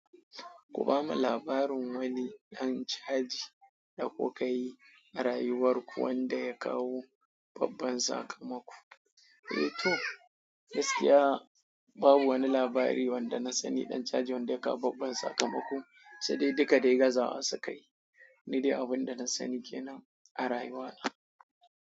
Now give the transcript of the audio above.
Kuba mublabarin wani ɗan caji da kuka yi a rayuwar ku wanda ya kawo babban sakamako. Eh to, gaskiya babu wani labari wanda na sani ɗan caji wanda ya kawo babban sakamako, sai dai duka da gazaws suka yi. Nida abin da na sani ke nan a rayuwa.